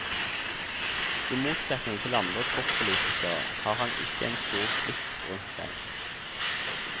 I motsetning til andre toppolitikere, har han ikke en stor klikk rundt seg.